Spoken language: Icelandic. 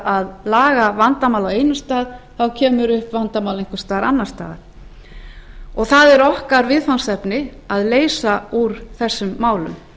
að laga vandamál á einum stað þá kemur upp vandamál einhvers staðar annars staðar það er okkar viðfangsefni að leysa úr þessum málum